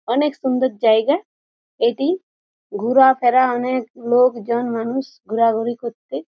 অনেক সুন্দর জায়গা এটি ঘুরা ফেরা অনেক লোকজন মানুষ ঘোরাঘুরি করছে।